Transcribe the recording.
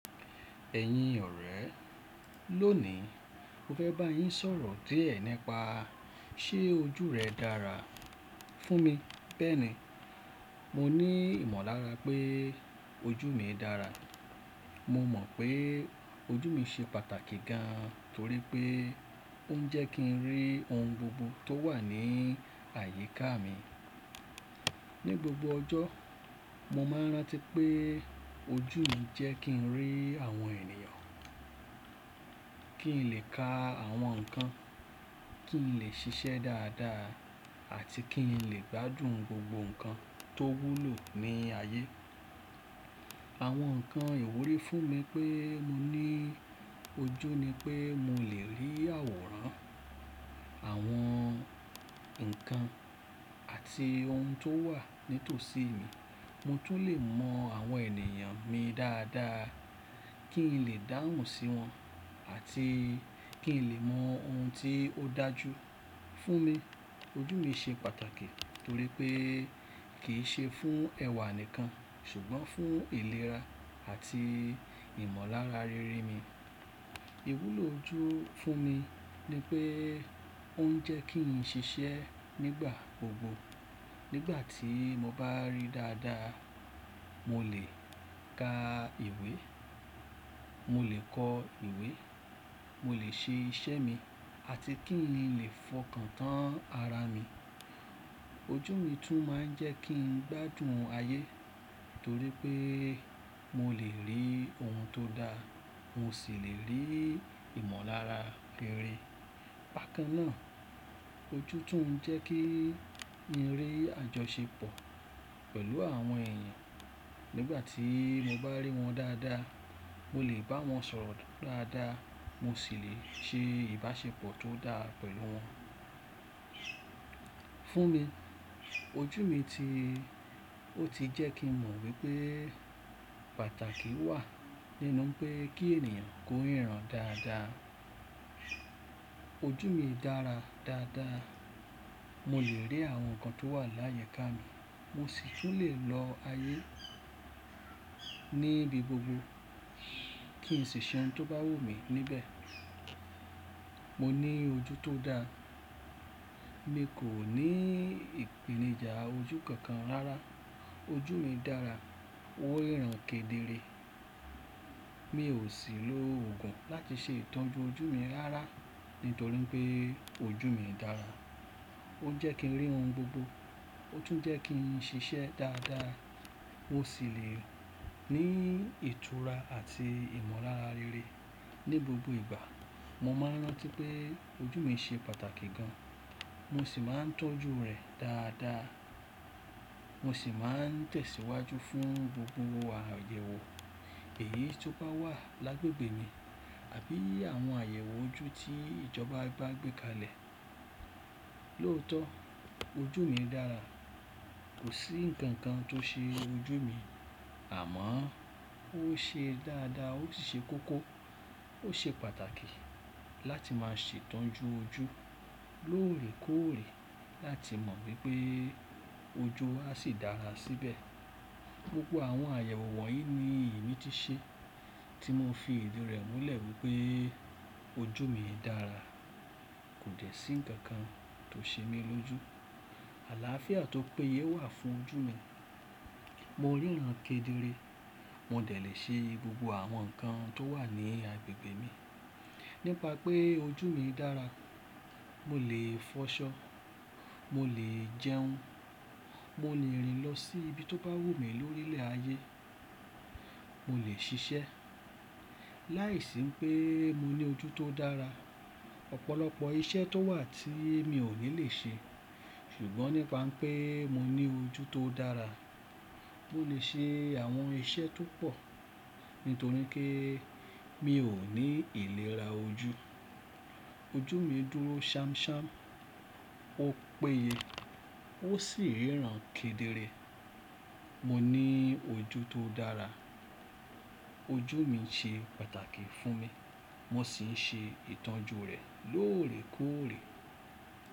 Ẹ̀yin ọ̀rẹ́, lónìí mo fẹ́ bá yín sọ̀rọ̀ díẹ̀ nípa ṣe ojú rẹ dára fún mi. Bẹ́ẹ̀ni, mo ní ìmọ̀lára pé ojú mi dára. Mo mọ̀ pé ojú mi ṣe pàtàkì gan torí pé ó ń jẹ́ kínrí ohun gbogbo tó wà ní àyíká mi. Ni gbogbo ọjọ́, mo máa n rántí pé ojú mi jẹ́ kí n rí àwọn ènìyàn, kí n lè ka àwọn nǹkan, kí n lè ṣiṣẹ́ dáadáa àti kí n lè gbádùn gbogbo nǹkan tówúlò ní ayé. Àwọn nǹkan ìwúrí fún mi pé mo ní ojú ni pé mo lè rí àwòrán àwọn nǹkan àti ohun tó wà nítòsí mi. Motún lè mọ àwọn ènìyàn mi dáadáa, kí n lè dáhùn sí wọn àti kí n lè mọ ohun tí ó dájú fún mi. Ojú mi ṣe pàtàkì torí pé kì í ṣe fún ẹwà nìkan ṣùgbọ́n fún ìlera àti ìmọ̀lára rere mi. Ìwúlò ojú fún mi ni pé ó ń jẹ́ kí n ṣiṣẹ́ nígbà gbogbo. Nígbà tí mo bá rí dáadáa, mo lè ka ìwé, mo lè kọ ìwé, mo lè ṣe iṣẹ́ mi àti kín lè fọkàn tán ara mi. Ojú mi tún máa ń jẹ́ kí n gbádùn ayé torí pé molèrí ohun tó da, mo sì lè rí ìmọ̀lára rere. Bàkan náà, ojú tún ń jẹ́ kín rí àjọṣepọ̀ pẹ̀lú àwọn èèyàn. Nígbà tí mobá ríwọn dáadáa, mo lè bá wọn sọ̀rọ̀ dáadáa, mo sì lè ṣe ìbáṣepọ̀ tó dáa pẹ̀lú wọn. Fún mi, ojú mi ti ó tijẹ́ kín mọ̀ wípé pàtàkì wà nínú pé kí ènìyàn kó ìran dáadáa. Ojú mi dára dáadáa. Mo lè rí àwọn nǹkan tó wà láyẹká mi, mo sì tún lèlọ ayé níbi gbogbo kín ṣi ṣẹ́un tó bá wù mí níbẹ̀. Moní ojú tódáa. Mi kò ní ìpèníjà ojú kankan rárá. Ojú mi dára, ó ríran kedere. Miò sì lo oògùn láti ṣe ìtọ́jú ojú mi rárá nítorí pé ojú mi dára. Ó ń jẹ́ kí n rí ohun gbogbo, ó tún ń jẹ́ kí n ṣiṣẹ́ dáadáa, ó sì lè ní ìtura àti ìmọ̀lára rere. Ni gbogbo ìgbà, mo máa n rántí pé ojú mi ṣe pàtàkì gan. Mo sì máa ń tọ́jú rẹ̀ dáadáa. Mo sì máa ń tẹ̀síwájú fún gbogbo àyẹ̀wò èyí tó bá wà lágbegbe mi àbí àwọn àyẹ̀wò ojú tí ìjọba bá gbékalẹ̀. Lóòótọ́ ojú mi dára. Kòsí nǹkan kan tó ṣe ojú mi, àmọ́ óṣe dáadáa ósì ṣe kókó. Ó ṣe pàtàkì láti máa ṣe ìtọ́jú ojú lóòrèkóòrè láti mọ̀ wípé ojú asì dára síbẹ̀. Gbogbo àwọn àyẹ̀wò wọ̀nyí ní ìmítíṣẹ́ tí mo fi ìdí rẹ̀ múlẹ̀ wípé ojú mi dára. Kòde sí nǹkan kan tó ṣe mí lójú. Àlááfíà tó péye wà fún ojú mi. Mo ríran kedere. Modẹ̀ lè ṣe gbogbo àwọn nǹkan tówà ní agbègbè mi. Nípa pé ojú mi dára, mo lè fọṣọ, mo lè jẹun, mo lè rìn lọ sí ibi tó bá wù mí lórílẹ̀ ayé, mo lè ṣiṣẹ́. Láìsí pé moní ojú tó dára, ọ̀pọ̀lọpọ̀ iṣẹ́ tó wà tí mi ò ní lèṣe. Ṣùgbọ́n nípa pé mo ní ojú tó dára, mo lè ṣe àwọn iṣẹ́ tópọ̀ nítorí pé mi ò ní ìlera ojú. Ojú mi dúró ṣámṣám, ó péye ósì ríran kedere. Mo ní ojú tó dára. Ojú mi ṣe pàtàkì fún mi. Mo sì ń ṣe ìtọ́jú rẹ̀ lóòrèkóòrè.